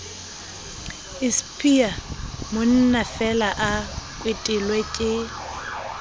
ispia monnafeela a kwetelwe ke